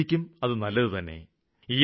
പരിസ്ഥിതിക്കും അത് നല്ലതു തന്നെ